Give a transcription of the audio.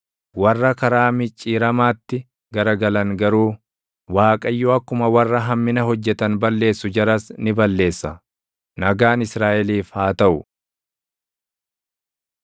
Warra karaa micciiramaatti garagalan garuu, Waaqayyo akkuma warra hammina hojjetan balleessu jaras ni balleessa. Nagaan Israaʼeliif haa taʼu.